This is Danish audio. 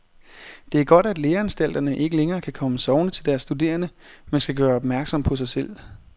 Det er godt, at læreanstalterne ikke længere kan komme sovende til deres studerende, men skal gøre opmærksom på sig selv.